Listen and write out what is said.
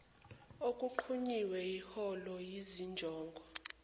okunqunyiwe iholwa yizinjongo